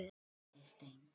fögur ofan lög.